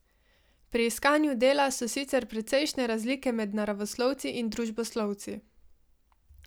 Pri iskanju dela so sicer precejšne razlike med naravoslovci in družboslovci.